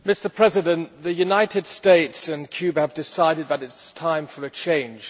Mr President, the United States and Cuba have decided that it is time for a change.